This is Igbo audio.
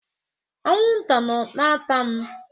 Anwụ nta nọ na ata m.